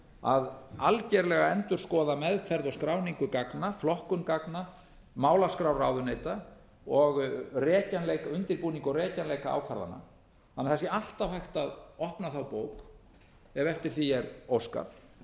að algerlega endurskoða meðferð og skráningu gagna flokkun gagna málaskrár ráðuneyta og rekjanleika undirbúning og rekjanleika ákvarðana þannig að það sé alltaf hægt að opna bókina ef eftir því er